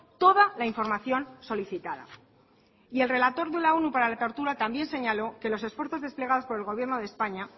toda la información solicitada y el relator de la onu para la tortura también señaló que los esfuerzos desplegados por el gobierno de españa